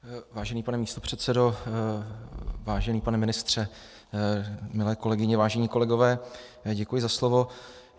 Vážený pane místopředsedo, vážený pane ministře, milé kolegyně, vážení kolegové, děkuji za slovo.